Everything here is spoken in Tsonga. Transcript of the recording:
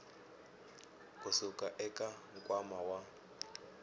ku suka eka nkwama wa